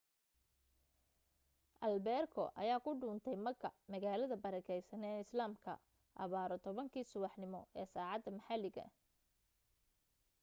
albeerko ayaa ku duntay makka magaalada barakaysan ee islaamka abbaaro 10 kii subaxnimo ee saacadda maxalliga